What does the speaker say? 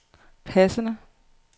passende